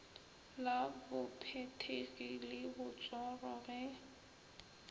la bophethegi le botsoro ge